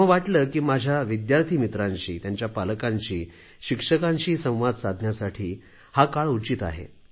तेव्हा वाटले की माझ्या विद्यार्थी मित्रांशी त्यांच्या पालकांशी शिक्षकांशी संवाद साधण्यासाठी हा काळ उचित आहे